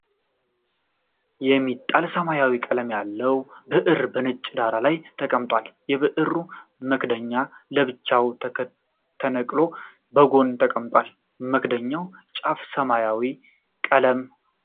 የሚጣል ሰማያዊ ቀለም ያለው ብዕር በነጭ ዳራ ላይ ተቀምጧል። የብዕሩ መክደኛ ለብቻው ተነቅሎ በጎን ተቀምጧል፤ መክደኛውና ጫፉ ሰማያዊ ቀለም አላቸው።